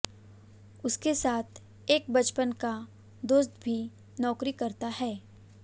उनके साथ एक बचपन का दोस्त भी नौकरी करता है